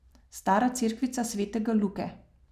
Stara cerkvica svetega Luke.